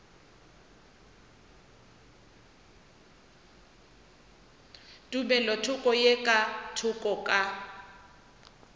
tumelothoko ye ka thoko ka